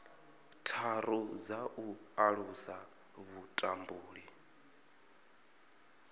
tharu dza u alusa vhutumbuli